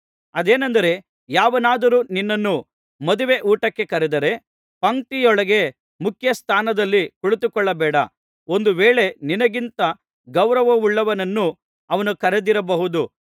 ಅದೇನೆಂದರೆ ಯಾವನಾದರೂ ನಿನ್ನನ್ನು ಮದುವೆ ಊಟಕ್ಕೆ ಕರೆದರೆ ಪಂಕ್ತಿಯೊಳಗೆ ಮುಖ್ಯ ಸ್ಥಾನದಲ್ಲಿ ಕುಳಿತುಕೊಳ್ಳಬೇಡ ಒಂದು ವೇಳೆ ನಿನಗಿಂತ ಗೌರವವುಳ್ಳವನನ್ನು ಅವನು ಕರೆದಿರಬಹುದು